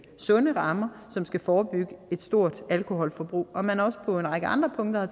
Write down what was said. sunde rammer som skal forebygge et stort alkoholforbrug og at man også på en række andre punkter har